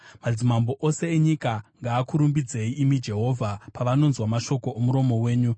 Madzimambo ose enyika ngaakurumbidzei, imi Jehovha, pavanonzwa mashoko omuromo wenyu.